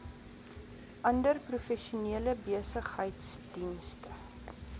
ander professionele besigheidsdienste